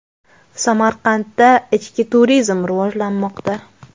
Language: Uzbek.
Samarqandda ichki turizm rivojlanmoqda.